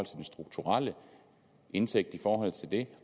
strukturelle indtægt i forhold til det